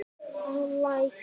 að Læk.